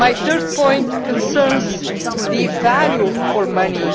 My third point concerns the value for money.